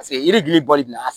Paseke yiri gili ba de don a